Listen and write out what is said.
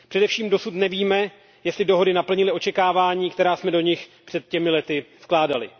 Především dosud nevíme, jestli dohody naplnily očekávání, která jsme do nich před těmi lety vkládali.